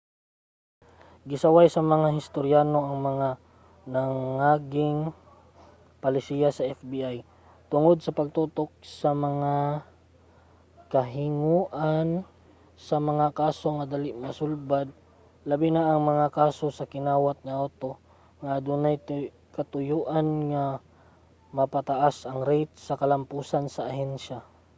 gisaway sa mga historyano ang mga nangaging palisiya sa fbi tungod sa pagtutok sa mga kahinguhaan sa mga kaso nga dali masulbad labi na ang mga kaso sa kinawat nga awto nga adunay katuyoan nga mapataas ang rate sa kalampusan sa ahensya